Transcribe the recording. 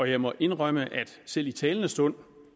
jeg må indrømme at selv i talende stund